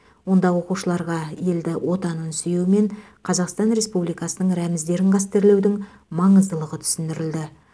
онда оқушыларға елді отанын сүю мен қазақстан республикасының рәміздерін қастерлеудің маңыздылығы түсіндірілді